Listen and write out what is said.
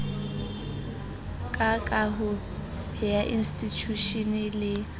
ka kaho ya institjhushene le